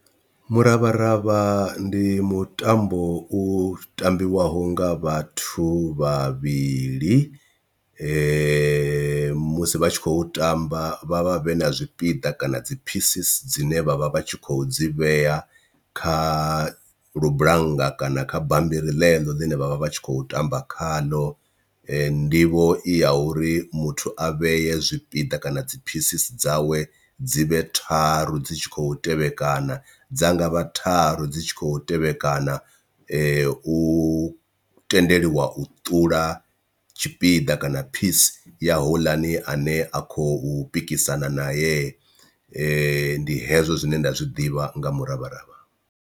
Muravharavha ndi mutambo u tambiwaho nga vhathu vhavhili musi vha tshi khou tamba vha vha vhe na zwipiḓa kana dzi phisisi dzine vhavha vhatshi kho dzi vheya kha lubulanga kana kha bammbiri ḽeḽo ḽine vhavha vha tshi kho tamba khaḽo. Nḓivho i ya uri muthu a vheye zwipiḓa kana dzi phisisi dzawe dzi vhe tharu dzi tshi khou tevhekana dza nga vha tharu dzi tshi khou tevhekana u tendeliwa u ṱula tshipiḓa kana phisi ya houḽani ane a khou pikisana nae, ndi hezwo zwine nda zwi ḓivha nga miravharavha.